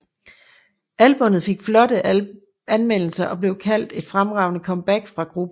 Albummet fik flotte anmeldelser og blev kaldt et fremragende comeback for gruppen